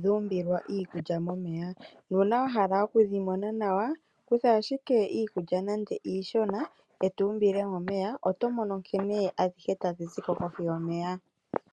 dhuumbilwa iikulya momeya, na una wahala okudhimona nawa kutha ashike iikulya nande iishona etumbile momeya oto mono nkene adhihe tadhi ziko kohi yomeya.